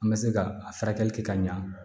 An bɛ se ka a furakɛli kɛ ka ɲa